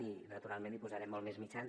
i naturalment hi posarem molts més mitjans